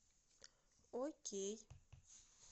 окей